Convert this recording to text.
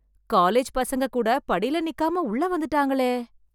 college பசங்க கூட படியில நிக்காம உள்ள வந்துட்டாங்களே